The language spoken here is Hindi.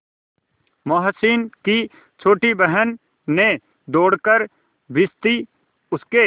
मोहसिन की छोटी बहन ने दौड़कर भिश्ती उसके